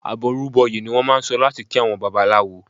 "Àbọrú bọyè" ni wọ́n máà ń sọ láti kí àwọn Babaláwo.